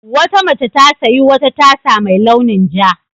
Wata mace ta sayi wata tasa mai launin ja.